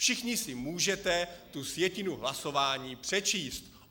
Všichni si můžete tu sjetinu hlasování přečíst.